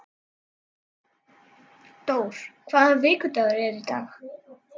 Dór, hvaða vikudagur er í dag?